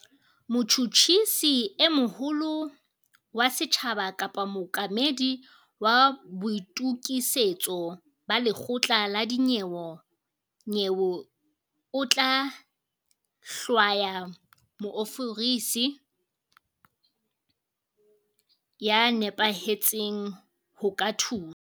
Motjhutjhisi e moholo wa setjhaba kapa mookamedi wa boitokisetso ba lekgotla la dinyewe o tla hlwaya moofisiri ya nepahetseng ho ka thusa.